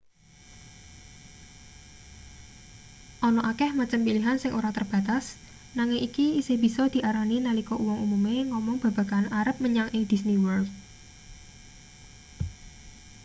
ana akeh macem pilihan sing ora terbatas nanging iki isih bisa diarani nalika uwong umume ngomong babagan arep menyang ing disney world